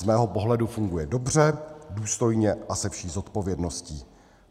Z mého pohledu funguje dobře, důstojně a se vší zodpovědností.